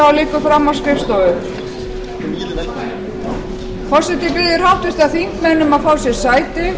þar sem hann afturkallar fyrirspurn sína á þingskjali hundrað tuttugu og sjö